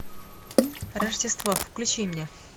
рождество включи мне